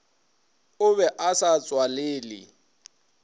o be a sa tswalele